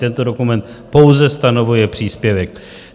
Tento dokument pouze stanovuje příspěvek.